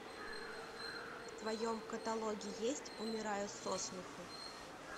в твоем каталоге есть умираю со смеху